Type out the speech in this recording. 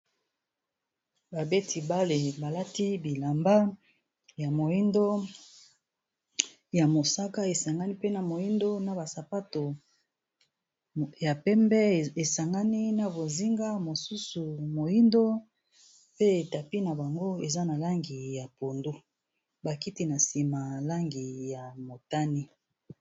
Ba beti bale, balati bilamba ya moindo, ya mosaka, esangani pena moindo, na basapato ya pembe esangani na bozinga, mosusu moindo. Pe tapi na bango, eza na langi ya pondu. Ba kiti na nsima, langi ya motani.